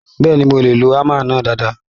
Bẹ́ẹ̀ni, mo lè lo hámà náà dáadáa.